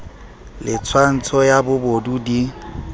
le tswantsho ya bobodu di